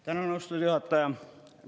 Tänan, austatud juhataja!